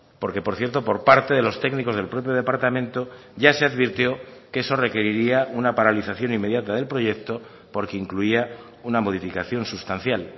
porque por cierto por parte de los técnicos del propio departamento ya se advirtió que eso requeriría una paralización inmediata del proyecto porque incluía una modificación sustancial